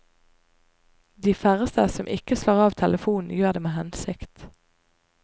De færreste som ikke slår av telefonen, gjør det med hensikt.